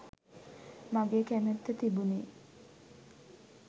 මගේ කැමැත්ත තිබුණෙ.